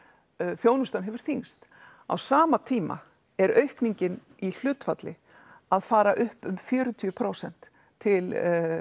þjónustan hefur þyngst á sama tíma er aukningin í hlutfalli að fara upp um fjörutíu prósent til